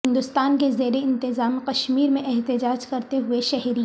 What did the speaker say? ہندوستان کے زیر انتظام کشمیر میں احتجاج کرتے ہوئے شہری